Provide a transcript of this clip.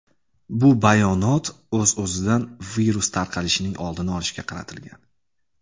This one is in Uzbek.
Bu bayonot, o‘z-o‘zidan, virus tarqalishining oldini olishga qaratilgan.